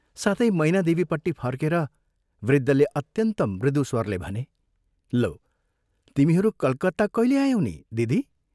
साथै मैनादेवीपट्टि फर्केर वृद्धले अत्यन्त मृदु स्वरले भने, "लौ, तिमीहरू कलकत्ता कैले आयौ नि, दिदी?